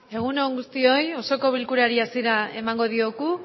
egun on guztioi osoko bilkurari hasiera emango diogu